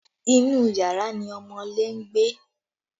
Inú yàrá ni ọmọọ́lé ń gbé